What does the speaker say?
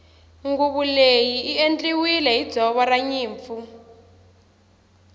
nguvu leyi i endliwile hi ndzoro ranyimpfu